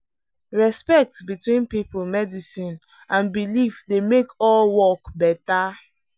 respect between people medicine and belief dey make all work better.